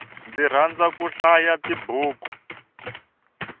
ndzi rhandza ku hlaya tibuku